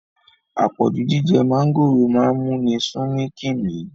Apọ̀jù jíjẹ mọ̀ngòrò máa ń múni sumi kimi